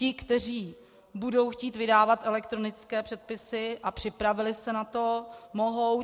Ti, kteří budou chtít vydávat elektronické předpisy a připravili se na to, mohou.